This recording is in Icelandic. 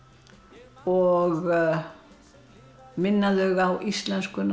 og minna þau á íslenskuna